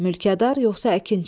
Mülkədar yoxsa əkinçi?